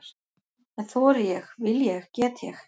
En þori ég, vil ég, get ég?